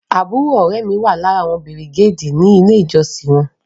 Àbúrò ọ̀rẹ́ ẹ mi wà lára àwọn bìrìgéèdì ní ilé ìjọsìn wọn